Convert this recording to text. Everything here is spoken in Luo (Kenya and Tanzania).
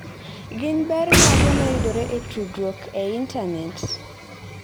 Gin ber mage ma yudore e tudruok e intanet?